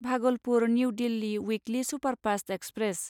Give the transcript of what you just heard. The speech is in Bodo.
Bhagalpur new Delhi weekly superfast express